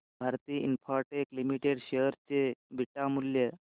Bharti Infratel limited share चे beta मूल्य